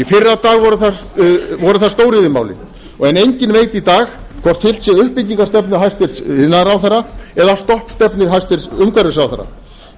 í fyrradag voru það stóriðjumálin en enginn veit í dag hvort fylgt sé uppbyggingarstefnu hæstvirtur iðnaðarráðherra eða stoppstefnu hæstvirtur umhverfisráðherra